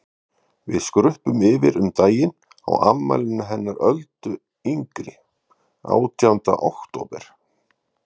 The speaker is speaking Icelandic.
Við skruppum yfir um daginn á afmælinu hennar Öldu yngri, átjánda október.